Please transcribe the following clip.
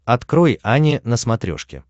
открой ани на смотрешке